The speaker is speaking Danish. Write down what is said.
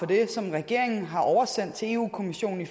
det som regeringen har oversendt til europa kommissionen i